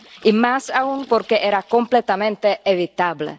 Y más aún porque era completamente evitable.